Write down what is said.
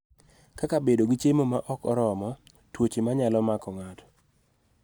Kaka bedo gi chiemo ma ok oromo, tuoche ma nyalo mako ng�ato,